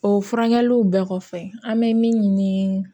O furakɛliw bɛɛ kɔfɛ an bɛ min ɲini